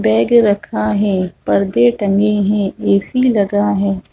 Bag रखा है पर्दे टंगे है ए.सी. लगा है।